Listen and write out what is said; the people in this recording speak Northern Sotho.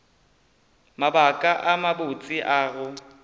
mabaka a mabotse a go